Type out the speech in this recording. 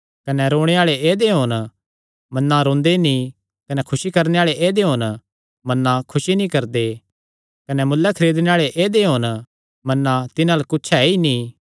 कने रोणे आल़े ऐदेय होन मन्ना रोंदे नीं कने खुसी करणे आल़े ऐदेय होन मन्ना खुसी नीं करदे कने मुल्ले खरीदणे आल़े ऐदेय होन मन्ना तिन्हां अल्ल कुच्छ ऐ ई नीं